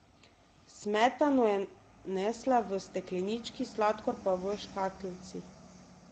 Smetano je nesla v steklenički, sladkor pa v škatlici.